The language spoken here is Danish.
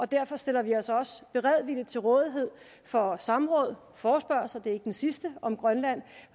derfor stiller vi os også beredvilligt til rådighed for samråd forespørgsler det er ikke den sidste om grønland